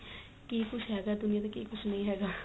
ਕੀ ਕੁੱਝ ਹੈਗਾ ਦੁਨੀਆਂ ਤੇ ਕੀ ਕੁੱਝ ਨਹੀਂ ਹੈਗਾ